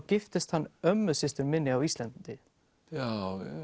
giftist hann ömmusystur minni á Íslandi